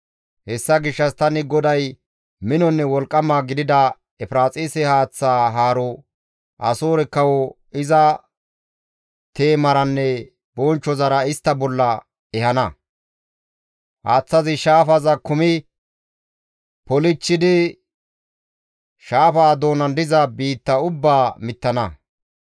Hessa gishshas tani GODAY minonne wolqqama gidida Efiraaxise haaththa haro, Asoore kawo iza teemaranne bonchchozara istta bolla ehana; haaththazi shaafaza kumi polchchidi shaafa doonan diza biitta ubbaa mittana.